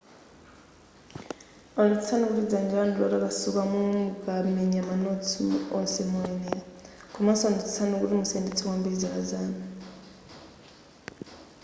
onetsetsani kuti dzanja lanu ndi lotakasuka momwe mukamenya manotsi onse moyenera komanso onetsetsani kuti musayendetse kwambiri zala zanu